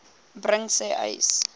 bring sê uys